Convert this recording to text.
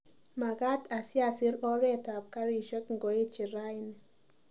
Magaat asiasir oretab karishek ngoeche rauni